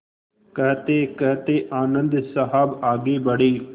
कहतेकहते आनन्द साहब आगे बढ़े